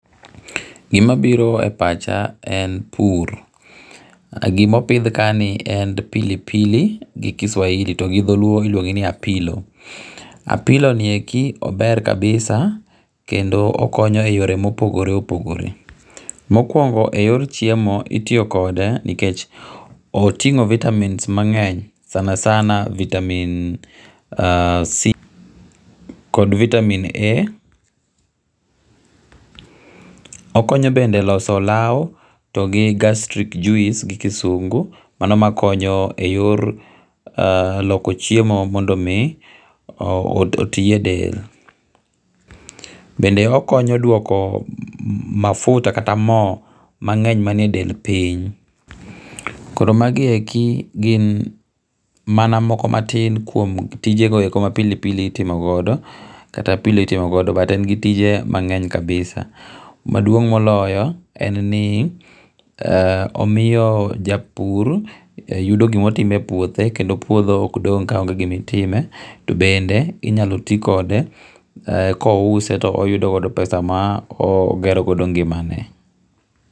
Gima biro e pacha en pur. Gima opidh kaeni en pilipili gi Kiswahili to gidholuo iluonge ni apilo. Apilo nieki ober kabisa kendo okonyo eyore mopogore opogore. Mokuongo eyor chiemo itiyo kode nikech tingo vitamins mang'eny sana sana vitamin C kod vitamin A. Okonyo bende eloso olaw to gi gastric juice gi kisungu, mano makonyo eyor loko chiemo mondo mi oti edel. Bende okonyo duoko mafuta kata mo mang'eny manie del piny. Koro magi eki gin mana moko matin kuom tijego eko ma pilipili itimo godo kata apilo mitimo godo but en gi tije mang'eny kabisa. Maduong moloyo en ni omiyo japur yudo gima otimo epuothe kendo puodho ok dong' kaonge gimitime. To bende inyalo ti kode, kouse to oyudo pesa ma ogero godo ngimane.